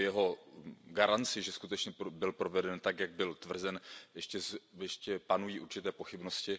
O jeho garanci, že skutečně byl proveden tak, jak bylo tvrzeno, ještě panují určité pochybnosti.